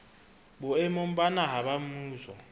boemong ba naha ba mmuso